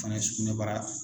Fana ye sugunɛbara